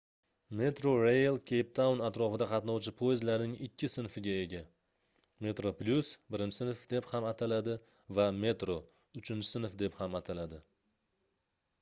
metrorail keyptaun atrofida qatnovchi poyezdlarning ikki sinfiga ega: metroplus birinchi sinf deb ham ataladi va metro uchinchi sinf deb ham ataladi